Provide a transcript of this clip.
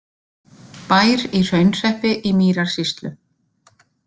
Bær í Hraunhreppi í Mýrarsýslu.